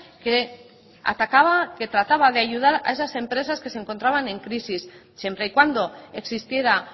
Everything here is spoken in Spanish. que atacaba que trataba de ayudar a esas empresas que se encontraban en crisis siempre y cuando existiera